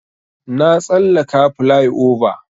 Na tsallaka plyova.